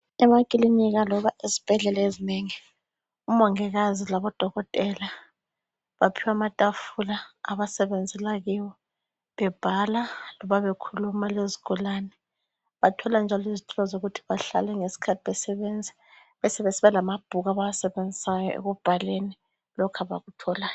Emakilinika loba ezibhedlela ezinengi, omongikazi labodokotela baphiwa amatafula abasebenzela kiwo bebhala loba bekhuluma lezigulane. Bathola njalo izitulo zokuthi behlale ngesikhathi besebenza. Besebesiba lamabhuku abawasebenzisayo ekubhaleni lokhu abakutholayo.